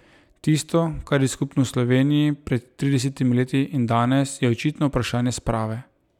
Tisto, kar je skupno Sloveniji pred tridesetimi leti in danes, je očitno vprašanje sprave.